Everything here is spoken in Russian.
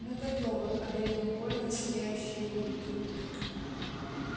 мы готовы одарил он колина сияющей улыбкой